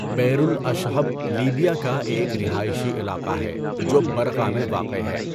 بِئْرُ الاَشہب لیبیا کا ایک رہائشی علاقہ ہے جو برقہ میں واقع ہے۔